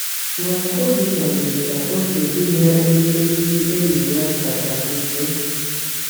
Mana Obinna mere ka oke dị n’ebe ndị enyi ya kacha nso.